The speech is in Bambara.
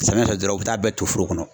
Samiya fɛ dɔrɔn u bɛ taa a bɛɛ ton foro kɔnɔ.